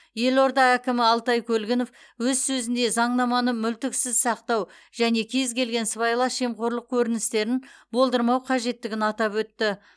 елорда әкімі алтай көлгінов өз сөзінде заңнаманы мүлтіксіз сақтау және кез келген сыбайлас жемқорлық көріністерін болдырмау қажеттігін атап өтті